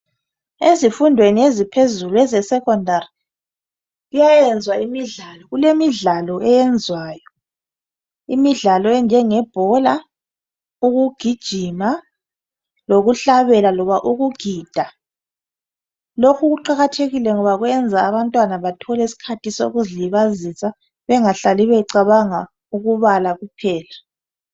Ezifundweni eziphezulu ezeSecondary kuyayenzwa imidlalo kulemidlalo eyenziwayo. Imidlalo enjengebhola ukugijima lokuhlabela loba ukugida. Lokhu kuqakathekile ngoba kwenza abantwana bathole isikhathi sokuzilibazisa bengacabangi ukubala kuphela.